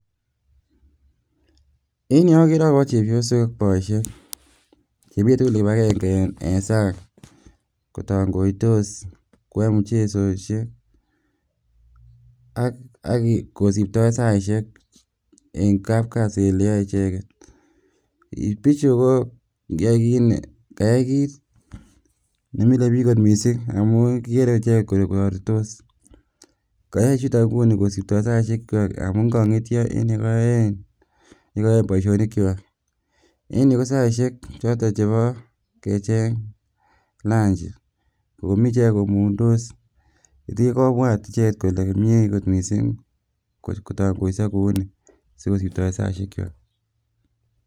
En yuu okeree akobo chebiosok, boishek chemii tukul kibakeng'e en sang kotong'oitos koyoe muchesosiek ak kosipto saishek eng' kapkasi oleyoe icheket, bichu ko kayai kiit nemilebik kot mising amun kikere ichek koborto koyoe chuton kosiptoen saishekwak amun kong'etyo en yekoyoen boishonikwak eng' yuu kosaishek choton chebo kecheng lanchi omii ichek komung'ndos oleen kobwat icheket kole mie kot mising kotong'oiso kouni sikosiptoen saishekwak.